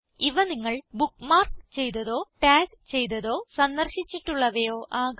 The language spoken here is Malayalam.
ഇവ നിങ്ങൾ ബുക്ക്മാർക്ക് ചെയ്തതോ ടാഗ് ചെയ്തതോ സന്ദർശിച്ചിട്ടുള്ളവയോ ആകാം